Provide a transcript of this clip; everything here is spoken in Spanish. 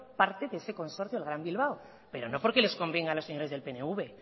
parte de ese consorcio del gran bilbao pero no porque les convenga a los señores del pnv